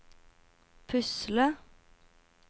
pusle